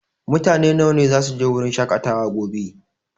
Mutane nawa ne zasu je wurin shaƙatawa gobe?